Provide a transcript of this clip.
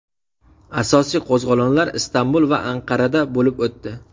Asosiy qo‘zg‘olonlar Istanbul va Anqarada bo‘lib o‘tdi.